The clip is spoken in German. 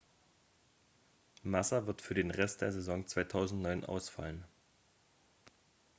massa wird für den rest der saison 2009 ausfallen